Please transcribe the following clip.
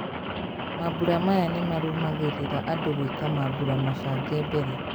Mambũra maya nĩmarũmagĩrĩra andu gwĩka mambũra mabange mbere.